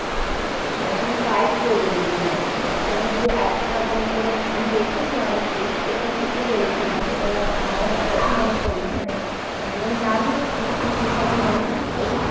মানে তোমার fight করবে রীতিমতন। কোন যে একটা মানে কোন আমি দেখেছি অনেককেই যেটা ঠিকই বলেছ। মানে এটা আমার হঠাৎই মনে পড়লো মানে আসলে আমি নাম নিচ্ছি না মানে তুমিতো